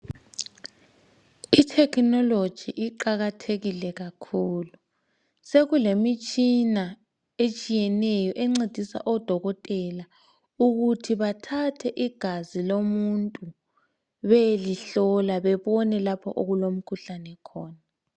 I technology iqakathekile kakhulu, sekulemitshina etshiyeneyo encedisa odokotela ukuthi bathathe igazi lomuntu beyelihlola bebone lapho okulomkhuhlane khona.